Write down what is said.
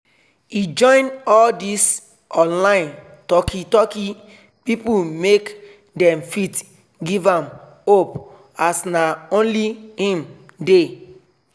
he join all this online talki talki people make them fit give am hope as nah only him dey